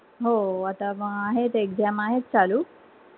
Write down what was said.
हो आता म आहेत exam आहेत चालू